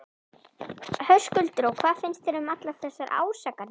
Höskuldur: Og hvað finnst þér um allar þessar ásakanir?